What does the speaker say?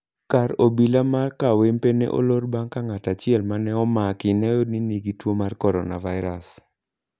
kar obila ma kawempe ne olor bang' ka ng'at achiel ma ne omak ne oyudi ni nigi tuo mar coronavirus.